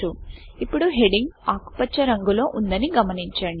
ఇప్పుడు హెడింగ్ ఆకుపచ్చరంగులో ఉందని గమనించండి